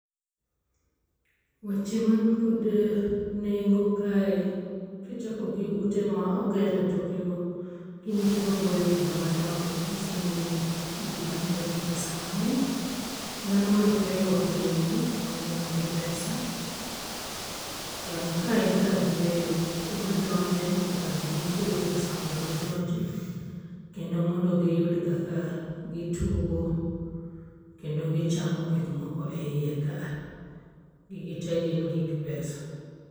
Weche man god nengo kae, kichako gi ute moger e toke go gin ute maboyo kendo madongo nyiso ni gin udi manoger gi pesa mang'eny. Dhano man kae orwako lewni monyiew gi pesa. Kae en kar yueyo joma donje nyaka bedni chulo pesa mondo gidonjo kendo mondo giyud kaka gitugo kendo gichamo gik moko eiye ka a. Gigi tee gin gik pesa.